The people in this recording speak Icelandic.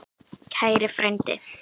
Kæri frændi!